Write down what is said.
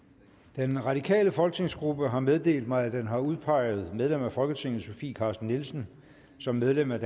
den radikale folketingsgruppe har meddelt mig at den har udpeget medlem af folketinget sofie carsten nielsen som medlem af